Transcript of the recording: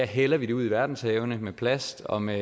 hælder vi det ud i verdenshavene med plast og med